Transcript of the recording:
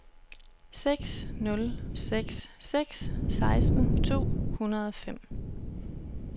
seks nul seks seks seksten to hundrede og fem